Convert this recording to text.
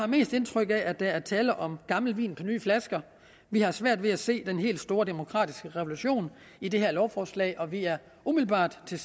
mest indtryk af at der er tale om gammel vin på nye flasker vi har svært ved at se den helt store demokratiske revolution i det her lovforslag og vi er umiddelbart til